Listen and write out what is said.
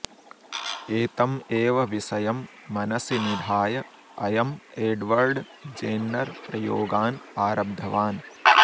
एतम् एव विषयं मनसि निधाय अयम् एड्वर्ड् जेन्नर् प्रयोगान् आरब्धवान्